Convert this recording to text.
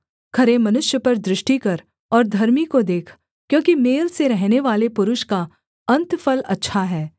खरे मनुष्य पर दृष्टि कर और धर्मी को देख क्योंकि मेल से रहनेवाले पुरुष का अन्तफल अच्छा है